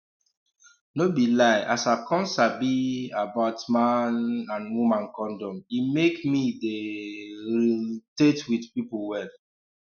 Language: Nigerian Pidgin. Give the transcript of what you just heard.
no be lie as i come sabi um about man um and woman condom e make me dey um realte with pipu wella